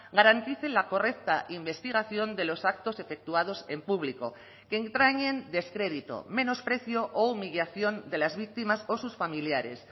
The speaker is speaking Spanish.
garantice la correcta investigación de los actos efectuados en público que entrañen descrédito menosprecio o humillación de las víctimas o sus familiares